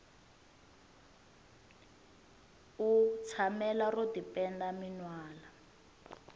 u shamela ro tipenda penda minwalo